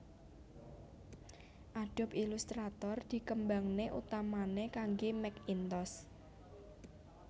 Adobe Illustrator dikembangné utamané kangge Macintosh